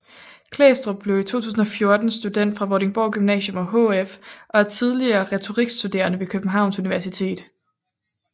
Klæstrup blev i 2014 student fra Vordingborg Gymnasium og HF og er tidligere retorikstuderende ved Københavns Universitet